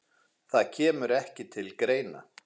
Það kemur ekki til greina